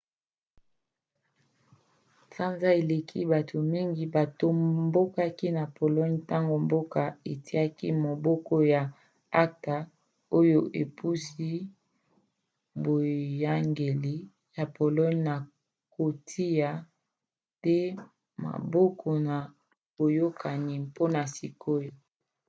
sanza eleki bato mingi batombokaki na pologne ntango mboka etiaki maboko na acta oyo epusi boyangeli ya pologne na kotia te maboko na boyokani mpona sikoyo